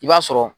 I b'a sɔrɔ